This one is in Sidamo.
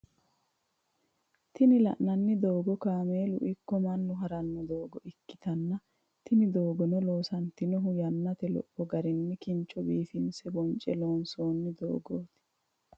Tini lanani dogo kamelu iko manu harrano dogo ikitana tini dogono loosantinohu yanate lopho garinni kincho biffinise bonche loonsonni loosoti.